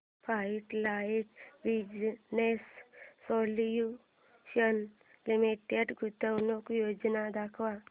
frontline business solutions limited गुंतवणूक योजना दाखव